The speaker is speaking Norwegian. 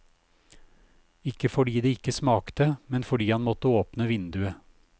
Ikke fordi det ikke smakte, men fordi han måtte åpne vinduet.